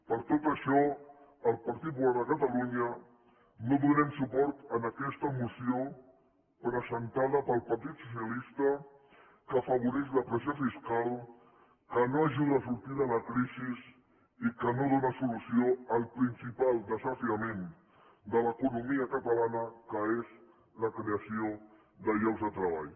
per tot això el partit popular de catalunya no donem suport a aquesta moció presentada pel partit socialista que afavoreix la pressió fiscal que no ajuda a sortir de la crisi i que no dóna solució al principal desafiament de l’economia catalana que és la creació de llocs de treball